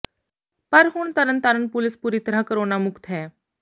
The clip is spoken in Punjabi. ਪਰ ਹੁਣ ਤਰਨਤਾਰਨ ਪੁਲਿਸ ਪੂਰੀ ਤਰ੍ਹਾਂ ਕੋਰੋਨਾ ਮੁਕਤ ਹੈ